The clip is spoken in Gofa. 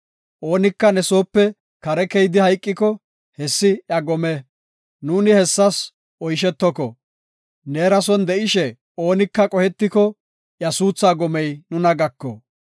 Oonika ne soope kare keyidi hayqiko, hessi iya gome. Nuuni hessas oyshetoko. Neera son de7ishe oonika qohetiko, iya suuthaa gomey nuna gako.